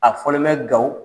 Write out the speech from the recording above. A fɔlen bɛ ga u